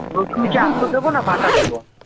রসুন কি তো আস্ত দেব না বাটা দেবো ।